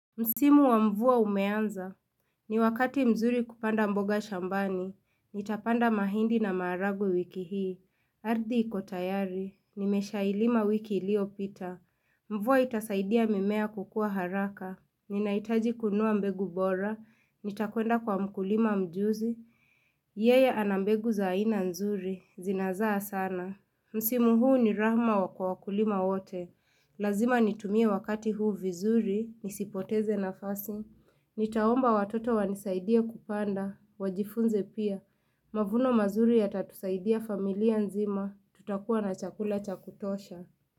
Msimu wa mvua umeanza, ni wakati mzuri kupanda mboga shambani, nitapanda mahindi na maharagwe wiki hii, ardhi iko tayari, nimeshailima wiki iliyopita, mvua itasaidia mimea kukua haraka, ninahitaji kununua mbegu bora, nitakwenda kwa mkulima mjuzi, yeye ana mbegu za ina nzuri, zinazaa sana. Msimu huu ni rahma wa kwa wakulima wote. Lazima nitumie wakati huu vizuri, nisipoteze nafasi. Nitaomba watoto wanisaidie kupanda, wajifunze pia. Mavuno mazuri yatatusaidia familia nzima, tutakuwa na chakula cha kutosha.